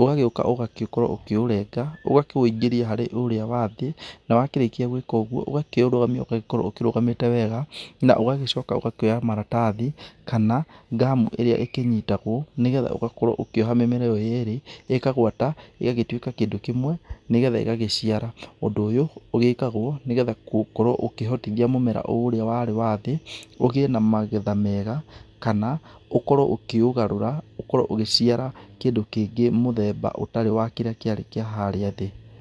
ũgagĩũka ũgagĩkorwo ũkĩũrenga ũgakĩũingĩria harĩ ũrĩa wathĩ, na wakĩrĩkia gwĩka ũguo ũgakĩũrũgamia ũgakorwo ũkĩrũgamĩte wega, na ũgagĩcoka ũgakĩoya maratathi kana ngamu ĩrĩa ĩkĩnyitagwo nĩgetha ũgakorwo ũkĩoha mĩmera ĩyo ĩrĩ yerĩ ĩkagũata ĩgagĩtuĩka kĩndũ kĩmwe, nĩgetha ĩgagĩciara. Ũndũ ũyũ ũgĩkagwo nĩgetha gũkorwo ũkĩhotithia mũmera ũrĩa warĩ wathĩ ũgĩe na magetha mega, kana ũkorwo ũkĩũgarũra ũkorwo ũgĩciara kĩndũ kĩngĩ mũthemba wa kĩria kĩarĩ kĩa harĩa thĩ.